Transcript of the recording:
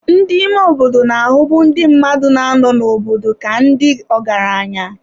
Ndị ime obodo na-ahụbu ndị mmadụ na-anọ n'obodo ka ndị ọgaranya.